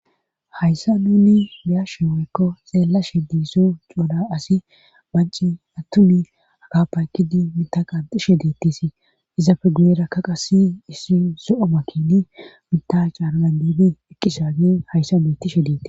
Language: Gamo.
hayssa nunni biyashe weekko xeellashe diiso couda asi banci attumi aka paykidi mita qanxishe deettisi izapfe guyera ka qasi issi so7o makini mita caaradan diibe ekkisaage hayssa metishe deetti